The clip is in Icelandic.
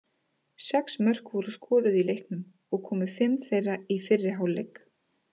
Sex mörk voru skoruð í leiknum og komu fimm þeirra í fyrri hálfleik.